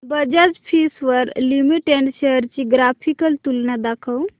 Bajaj Finserv limited shares ची graphical तुलना दाखव